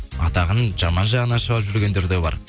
атағын жаман жағына шығарып жүрген де бар